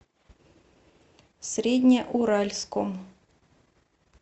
среднеуральском